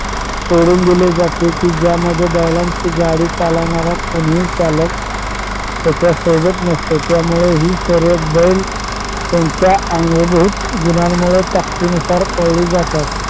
सोडून दिले जाते कि ज्यामध्ये बैलांचा गाडी चालवणारा कोणीही चालक त्याच्या सोबत नसतो त्यामुळे हि शर्यत बैल त्यांच्या अंगभूत गुणांमूळ ताकतीनुसार पळली जातात.